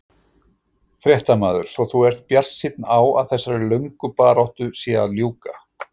Fréttamaður: Svo þú ert bjartsýn á að þessari lögnu baráttu sé að ljúka?